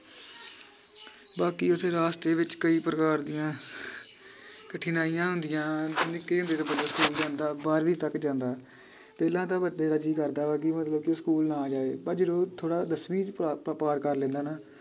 ਬਾਕੀ ਓਸੇ ਰਾਸਤੇ ਵਿਚ ਕਈ ਪ੍ਰਕਾਰ ਦੀਆਂ ਕਠਿਨਾਈਆਂ ਹੁੰਦੀਆਂ ਨਿੱਕੇ ਹੁੰਦੇ ਤੋਂ ਬੰਦਾ ਸਕੂਲ ਜਾਂਦਾ ਬਾਰ੍ਹਵੀਂ ਤਕ ਜਾਂਦਾ ਪਹਿਲਾਂ ਤਾਂ ਬੰਦੇ ਦਾ ਜੀ ਕਰਦਾ ਵਾ ਕਿ ਮਤਲਬ ਕਿ ਸਕੂਲ ਨਾ ਜਾਏ ਪਰ ਜਦੋਂ ਥੋੜਾ ਦੱਸਵੀਂ ਚ ਪ ਪਾ ਪਾਰ ਕਰ ਲੈਂਦਾ ਨਾ